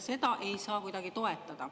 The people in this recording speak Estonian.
Seda ei saa kuidagi toetada.